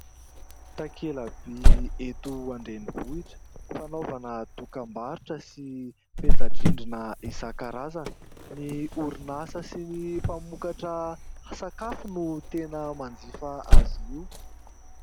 Takela-by eto an-drenivohitra fanaovana dokam-barotra sy peta-drindrina isan-karazana. Ny orinasa sy ny mpamokatra sakafo no tena manjifa azy io.